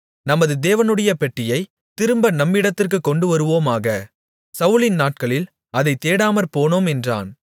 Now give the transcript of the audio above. நமது தேவனுடைய பெட்டியைத் திரும்ப நம்மிடத்திற்குக் கொண்டு வருவோமாக சவுலின் நாட்களில் அதைத் தேடாமற்போனோம் என்றான்